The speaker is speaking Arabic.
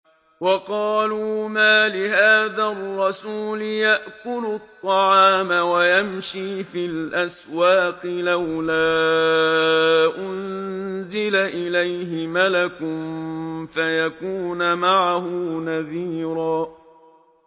وَقَالُوا مَالِ هَٰذَا الرَّسُولِ يَأْكُلُ الطَّعَامَ وَيَمْشِي فِي الْأَسْوَاقِ ۙ لَوْلَا أُنزِلَ إِلَيْهِ مَلَكٌ فَيَكُونَ مَعَهُ نَذِيرًا